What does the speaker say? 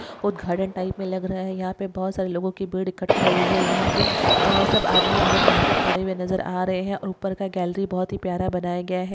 उदघाटन टाइप मे लग रहा है यहा पे बहुत सारे लोगों की भीड़ इकट्ठा हुई है यहापे अ सब आदमी औरत यहापे खड़े हुए नजर आ रहे है ऊपर कि गैलरी बहुत ही प्यारी बनाया गया है।